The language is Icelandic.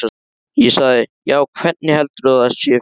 Ég sagði: Já, hvernig heldurðu að það sé fyrir mig?